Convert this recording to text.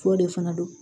F'o de fana don